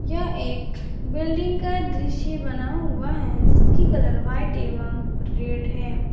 यह एक बिल्डिंग का दृश्य बना हुआ है जिसकी कलर व्हाइट एवं रेड है।